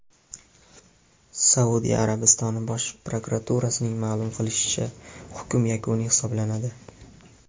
Saudiya Arabistoni Bosh prokuraturasining ma’lum qilishicha, hukm yakuniy hisoblanadi.